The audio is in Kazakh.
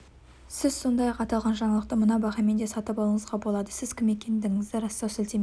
сіз сондай-ақ аталған жаңалықты мына бағамен де сатып алуыңызға болады сіз кім екендігіңізді растау сілтемесіне